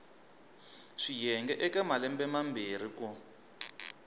swiyenge eka malembe mambirhi ku